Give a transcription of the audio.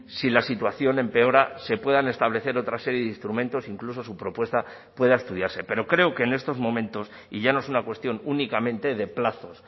si la situación empeora se puedan establecer otra serie de instrumentos incluso su propuesta pueda estudiarse pero creo que en estos momentos y ya no es una cuestión únicamente de plazos